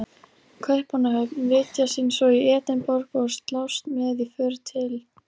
Kaupmannahöfn, vitja sín svo í Edinborg og slást með í för til